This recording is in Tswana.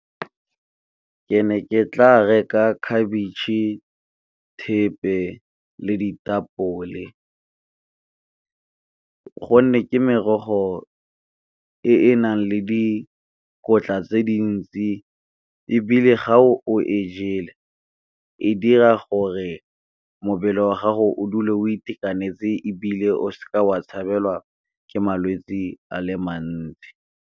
Ke ne ke tla reka khabetšhe thepe le ditapole, gonne ke merogo e e nang le dikotla tse dintsi. Ebile ga o e jele e dira gore wa gago o dule o itekanetse ebile o seka wa tshabela ke malwetsi a le mantsi.